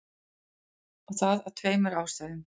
Og það af tveimur ástæðum.